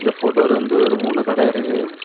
போட்டோல வந்து ஒரு மூணு கட இருக்கு.